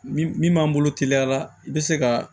Min min m'an bolo teliya la i be se ka